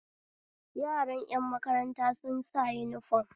Yaran ƴan makaranta sun sa uniform